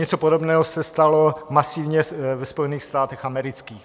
Něco podobného se stalo masivně ve Spojených státech amerických.